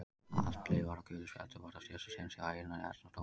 Atli var á gulu spjaldi og var á síðasta séns hjá Einari Erni dómara.